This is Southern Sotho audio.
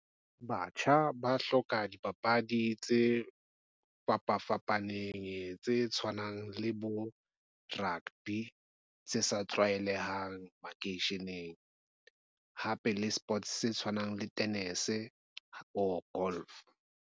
Batjha ba hloka dipapadi tse fapafapaneng tse tshwanang le bo, rugby tse sa tlwaelehang makeisheneng. Hape le sports se tshwanang le tenese or golf.